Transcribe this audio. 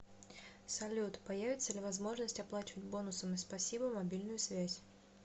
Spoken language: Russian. салют появится ли возможность оплачивать бонусами спасибо мобильную связь